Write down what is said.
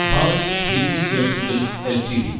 Bharat heavy electricals LTD